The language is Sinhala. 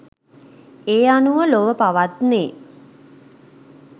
ඒ අනුව ලොව පවත්නේ